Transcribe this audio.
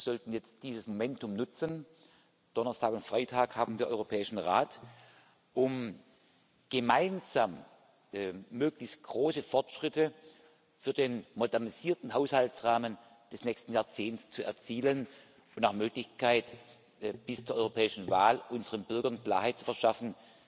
Wir sollten jetzt dieses Momentum nutzen Donnerstag und Freitag haben wir Europäischen Rat um gemeinsam möglichst große Fortschritte für den modernisierten Haushaltsrahmen des nächsten Jahrzehnts zu erzielen, und nach Möglichkeit bis zur europäischen Wahl unseren Bürgern Klarheit verschaffen,